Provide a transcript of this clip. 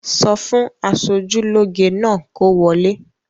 Sọ fún aṣojúlóge náà kó wọlé!